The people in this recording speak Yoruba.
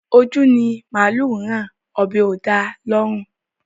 Ojú ni màálù rán, ọ̀bẹ́ ò da lọ́rùn